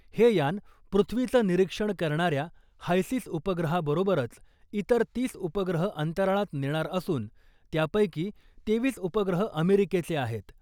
हे यान पृथ्वीचं निरीक्षण करणाऱ्या हायसिस उपग्रहाबरोबरच इतर तीस उपग्रह अंतराळात नेणार असून , त्यापैकी तेवीस उपग्रह अमेरिकेचे आहेत .